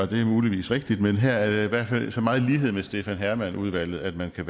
det er muligvis rigtigt men her er der i hvert fald så meget lighed med stefan hermann udvalget at man bliver